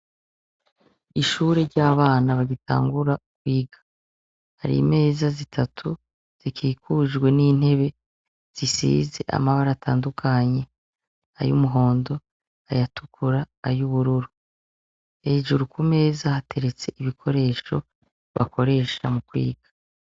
Ishure ry'abana bagitangura kwiga, hari imeza zitatu zikikujwe nintebe zisize amabara atandukanye. Ayumuhondo, ayatukura, ayubururu. Hejuru kumeza hateretse ibikoresho bakoresha mukwiga.